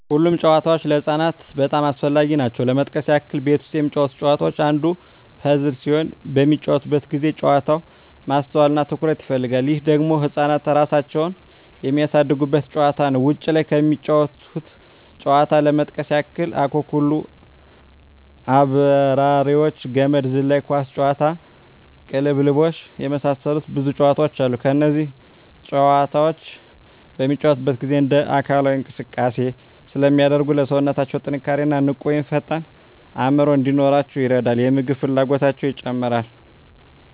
ሁሉም ጨዋታዎች ለህፃናት በጣም አስፈላጊ ናቸው ለመጥቀስ ያክል ቤት ውስጥ የሚጫወቱት ጨዋታ አንዱ ፐዝል ሲሆን በሚጫወቱበት ጊዜ ጨዋታው ማስተዋል እና ትኩረት ይፈልጋል ይህ ደግሞ ህፃናት እራሳቸውን የሚያሳድጉበት ጨዋታ ነው ውጭ ላይ ከሚጫወቱት ጨዋታዎች ለመጥቀስ ያክል አኩኩሉ....፣አብራሪዎች፣ ገመድ ዝላይ፣ ኳስ ጨዋታ፣ ቅልብልቦሽ የመሳሰሉት ብዙ ጨዋታዎች አሉ እነዚህ ጨዋታዎች በሚጫወቱበት ጊዜ እንደ አካላዊ እንቅስቃሴ ስለሚያደርጉ ለሠውነታው ጥንካሬ እና ንቁ ወይም ፈጣን አዕምሮ እንዲኖራቸው ይረዳል የምግብ ፍላጎታቸው ይጨምራል